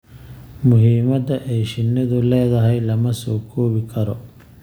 Muhiimadda ay shinnidu leedahay lama soo koobi karo.